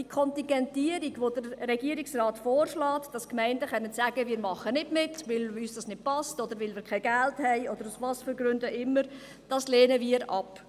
Die Kontingentierung, die der Regierungsrat vorschlägt – dass die Gemeinden sagen können, sie machen nicht mit, weil es ihnen nicht passt oder weil sie kein Geld haben, aus welchen Gründen auch immer –, lehnen wir ab.